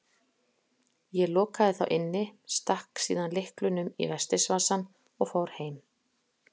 Ég lokaði þá inni, stakk síðan lyklunum í vestis- vasann og fór heim.